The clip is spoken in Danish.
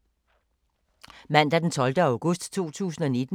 Mandag d. 12. august 2019